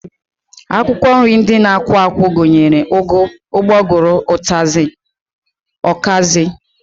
Akwụkwọ nri ndị na-akwụ akwụ gụnyere ụgụ, ụgbọgụrụ, ọkazị, ụtazị